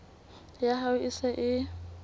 ya hao e se e